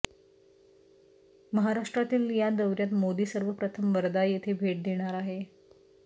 महाराष्ट्रातील या दौऱ्यात मोदी सर्वप्रथम वर्धा येथे भेट देणार आहे